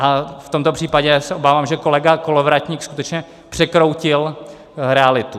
A v tomto případě se obávám, že kolega Kolovratník skutečně překroutil realitu.